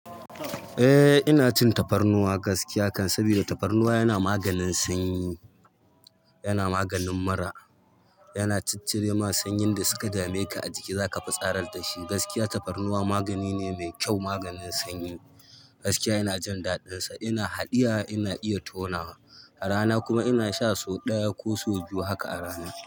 Eh ina cin tafarnuwa gaskiya kam saboda tafarnuwa yana maganin sanyi, yana maganin mura, yana ciccire ma sanyin da suka dame ka a jiki za ka fitsarar da shi. Gaskiya tafarnuwa magani ne mai kyau, maganin sanyi gaskiya ina jin daɗinsa. Ina haɗiya, ina iya tonawa a rana kuma ina sha so ɗaya ko so biyu haka a rana.